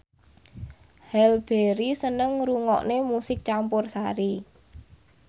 Halle Berry seneng ngrungokne musik campursari